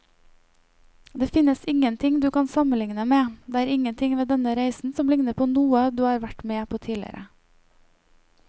Det finnes ingenting du kan sammenligne med, det er ingenting ved denne reisen som ligner på noe du har vært med på tidligere.